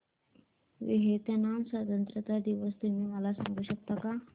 Vietnam स्वतंत्रता दिवस तुम्ही मला सांगू शकता का